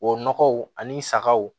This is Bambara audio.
O nɔgɔw ani sagaw